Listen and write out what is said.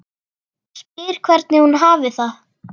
Spyr hvernig hún hafi það.